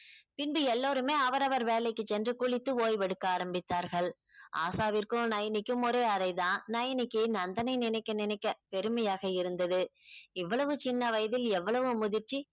பின்பு எல்லோருமே அவரவர் வேலைக்கு சென்று குளித்து ஓய்வெடுக்க ஆரம்பித்தார்கள் ஆஷாவிற்கும் நயனிக்கும் ஒரே அரை தான் நயனிக்கு நந்தனை நினைக்க நினைக்க பெருமையாக இருந்தது இவ்வளவு சின்ன வயதில் எவ்வளவு முதிர்ச்சி